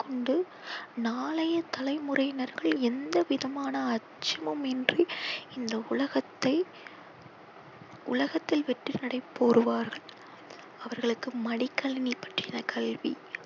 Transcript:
கொண்டு நாளைய தலைமுறையினர்கள் எந்த விதமான அச்சமும் இன்றி இந்த உலகத்தை உலகத்தில் வெற்றி நடை போடுவார்கள். அவர்களுக்கு மடிக்கணினி பற்றின கல்வி